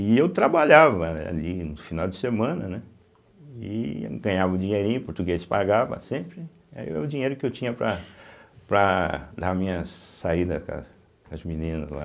E eu trabalhava ali no final de semana, né, e ganhava um dinheirinho, português pagava sempre, aí era o dinheiro que eu tinha para para as minhas saídas com as meninas lá.